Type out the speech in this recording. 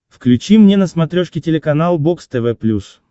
включи мне на смотрешке телеканал бокс тв плюс